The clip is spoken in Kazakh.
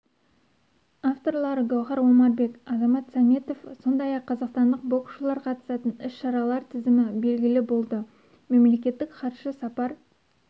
авторлары гауһар омарбек азамат сәметов сондай-ақ қазақстандық боксшылар қатысатын іс-шаралар тізімі белгілі болды мемлекеттік хатшы сапар